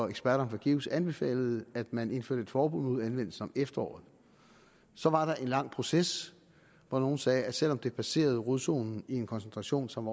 eksperterne fra geus anbefalede at man indførte et forbud mod anvendelse om efteråret så var der en lang proces hvor nogle sagde at selv om det passerede rodzonen i en koncentration som